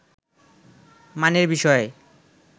মানের বিষয়ে